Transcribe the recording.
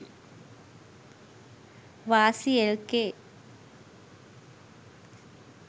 wasi lk